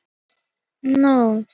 Hann rýfur þögnina.